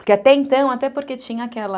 Porque até então, até porque tinha aquela...